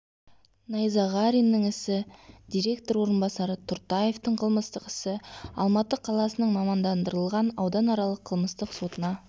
найзағариннің ісі директор орынбасары тұртаевтың қылмыстық ісі алматы қаласының мамандандырылған ауданаралық қылмыстық сотына